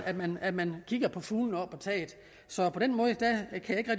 at man at man kigger på fuglene på taget så på den måde